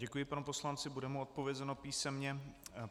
Děkuji panu poslanci, bude mu odpovězeno písemně.